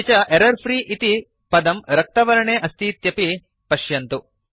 अपि च एरर्फ्री इति पदं रक्तवर्णे अस्तीत्यपि पश्यन्तु